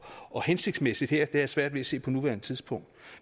og hensigtsmæssigt her har jeg svært ved at se på nuværende tidspunkt